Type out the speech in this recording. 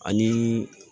Ani